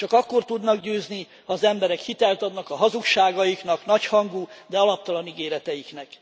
Csak akkor tudnak győzni, ha az emberek hitelt adnak a hazugságaiknak, nagyhangú, de alaptalan ígéreteiknek.